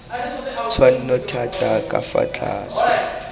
tshwanno thata ka fa tlase